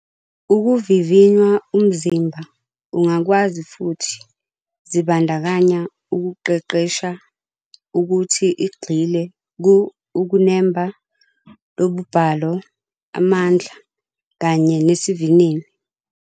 Ukuvivinya umzimba ungakwazi futhi zibandakanya ukuqeqesha ukuthi igxile ku ukunemba, lobubhalo, amandla, kanye nesivinini.